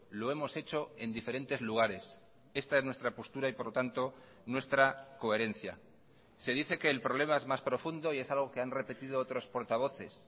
lo hemos hecho en diferentes lugares esta es nuestra postura y por lo tanto nuestra coherencia se dice que el problema es más profundo y es algo que han repetido otros portavoces